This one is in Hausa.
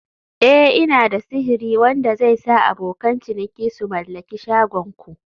Eh" Ina da sihiri wanda zai sa abokan ciniki su mallaki shagon ku